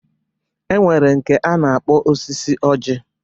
E nwere nke a na-akpọ osisi ọjị.